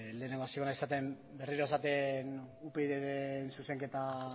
lehenengo hasiko naiz esaten berriro esaten upydren zuzenketa